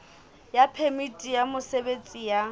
ya phemiti ya mosebetsi ya